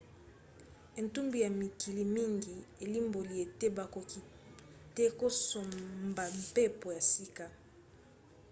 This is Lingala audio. etumbu ya mikili mingi elimboli ete bakoki te kosombampepo ya sika